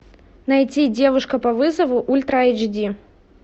найти девушка по вызову ультра айч ди